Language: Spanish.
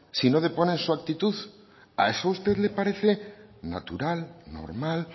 si no deponen su actitud a eso a usted le parece natural normal